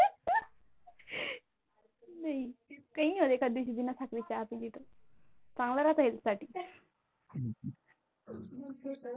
काही नाही होत एका दिवशी बिना साखरेची चहा पिली तर चांगले राहते Health साठी